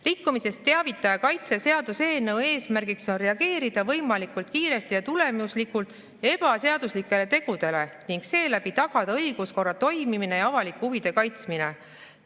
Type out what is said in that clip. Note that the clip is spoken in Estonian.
"Rikkumisest teavitaja kaitse seaduse eelnõu eesmärgiks on reageerida võimalikult kiiresti ja tulemuslikult ebaseaduslikele tegudele ning seeläbi tagada õiguskorra toimimine ja avalike huvide kaitsmine.